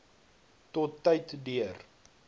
tot tyd deur